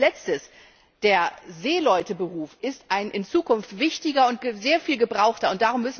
Und als Letztes Der Seeleute Beruf ist ein in Zukunft wichtiger und sehr viel gebrauchter Beruf.